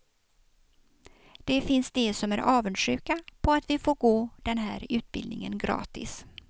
Det finns de som är avundsjuka på att vi får gå den här utbildningen gratis.